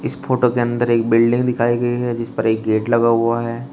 इस फोटो के अंदर एक बिल्डिंग दिखाई गई है जिस पर एक गेट लगा हुआ है।